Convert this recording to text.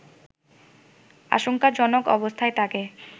আশঙ্কাজনক অবস্থায় তাকে